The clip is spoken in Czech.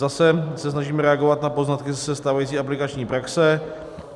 Zase se snažíme reagovat na poznatky ze stávající aplikační praxe.